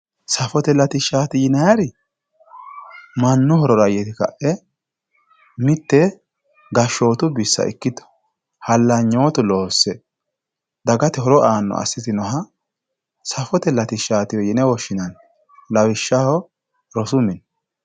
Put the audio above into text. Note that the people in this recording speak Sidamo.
safote latishshaati yinayiiri mannu horora yite ka'e mitte gashshootu bissa ikkito hallanyootu loosse dagate horo aanno assitinoha safote latishshaatiwe yine woshshinanni lawishshaho rosu mini.